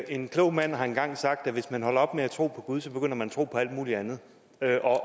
en klog mand har engang sagt at hvis man holder op med at tro på gud begynder man at tro på alt muligt andet